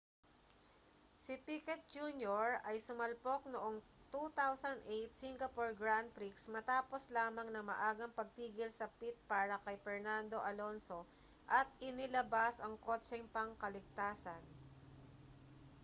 si piquet jr ay sumalpok noong 2008 singapore grand prix matapos lamang ng maagang pagtigil sa pit para kay fernando alonso at inilabas ang kotseng pangkaligtasan